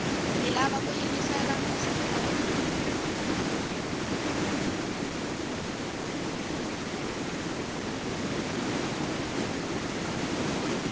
hi lava ku yingisela mintsheketo